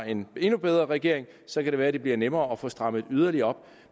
en endnu bedre regering og så kan det være at det bliver nemmere at få strammet yderligere op